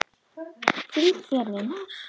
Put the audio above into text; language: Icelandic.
Flýt þér, vinur!